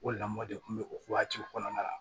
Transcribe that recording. O lamɔ de kun bɛ o waatiw kɔnɔna la